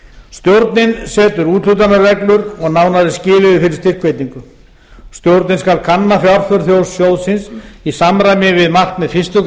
stjórnin setur úthlutunarreglur og nánari skilyrði fyrir styrkveitingu stjórnin skal kanna fjárþörf sjóðsins í samræmi við markmið fyrstu